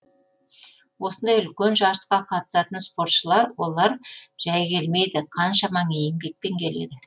осындай үлкен жарысқа қатысатын спортшылар олар жәй келмейді қаншама еңбекпен келеді